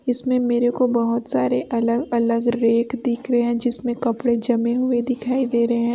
इसमें मेरे को बहोत सारे अलग अलग रैक दिख रहे हैं जिसमें कपड़े जमे हुए दिखाई दे रहे हैं।